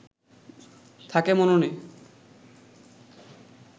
থাকে মননে